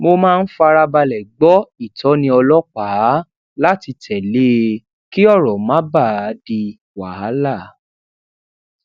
mo máa ń farabalè gbó ìtóni ọlópàá lati tele e kí òrò má bàa di wàhálà